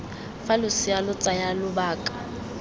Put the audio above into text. fa losea lo tsaya lobaka